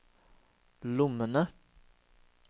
lommene